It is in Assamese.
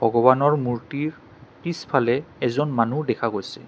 ভগৱানৰ মূৰ্ত্তিৰ পিছফালে এজন মানুহ দেখা গৈছে।